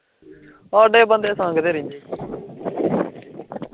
ਸਾਡੇ ਬੰਦੇ, ਸੰਗਦੇ ਰਹਿੰਦੇ